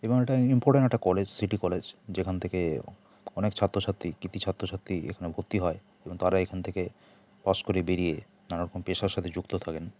এবং এটা ইমপর্টেন্ট একটা কলেজ সিটি কলেজ যেখান থেকে অনেক ছাত্র ছাত্রী কৃতি ছাত্র ছাত্রী এখানে ভর্তি হয় তারা এখান থেকে পাশ করে বেরিয়ে নানারকম পেশার সাথে যুক্ত থাকেন।